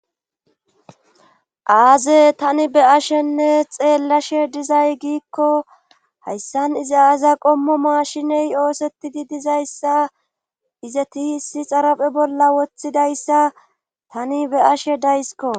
aaze tani be ashenne xeellashe dizay giikko hayssan izi aaza qommo maashiney oosetidi dizayssa izeti hissi xarape bolla woththidayssa tani be ashe daysko